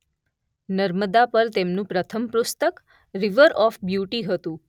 નર્મદા પર તેમનું પ્રથમ પુસ્તક રીવર ઓફ બ્યુટી હતું.